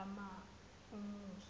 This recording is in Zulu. amuse